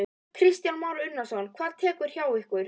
Kristján Már Unnarsson: Hvað tekur við hjá ykkur?